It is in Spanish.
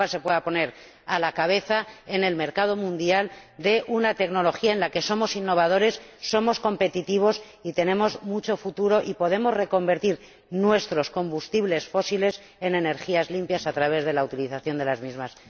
Que Europa se pueda poner a la cabeza en el mercado mundial de una tecnología en la que somos innovadores, somos competitivos y tenemos mucho futuro, ya que podemos reconvertir nuestros combustibles fósiles en energías limpias a través de la utilización de las mismas.